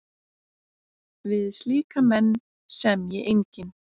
Við slíka menn semji enginn.